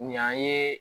Ɲ'an ye